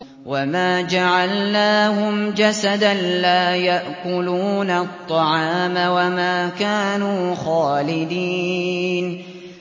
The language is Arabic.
وَمَا جَعَلْنَاهُمْ جَسَدًا لَّا يَأْكُلُونَ الطَّعَامَ وَمَا كَانُوا خَالِدِينَ